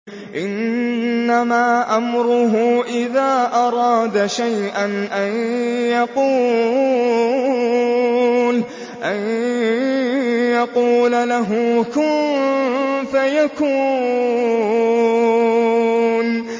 إِنَّمَا أَمْرُهُ إِذَا أَرَادَ شَيْئًا أَن يَقُولَ لَهُ كُن فَيَكُونُ